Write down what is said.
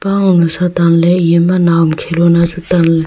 pang nu sa tan ley eye ma nawam khelona chu tan ley.